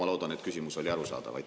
Ma loodan, et küsimus oli arusaadav.